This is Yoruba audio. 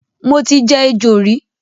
Mo ti jẹ ejò rí